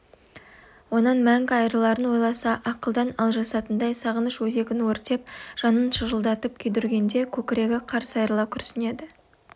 онан мәңгі айрыларын ойласа ақылдан алжасатындай сағыныш өзегін өртеп жанын шыжылдатып күйдіргенде көкірегі қарс айрыла күрсінеді